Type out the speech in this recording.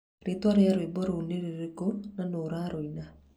Rĩĩtwa rĩa rwĩmbo rũu nĩ rĩrĩkũ na nũ ũrarũina